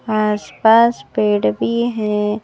आसपास पेड़ भी है।